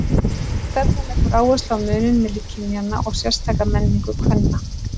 Sú stefna leggur áherslu á muninn milli kynjanna og sérstaka menningu kvenna.